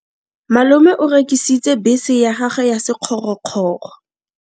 Malome o rekisitse bese ya gagwe ya sekgorokgoro.